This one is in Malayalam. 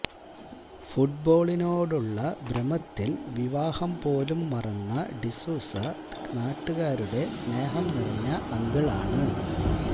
ഫുട്ബോളിനോടുള്ള ഭ്രമത്തില് വിവാഹം പോലും മറന്ന ഡിസൂസ നാട്ടുകാരുടെ സ്നേഹം നിറഞ്ഞ അങ്കിളാണ്